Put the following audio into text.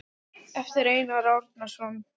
eftir Einar Árnason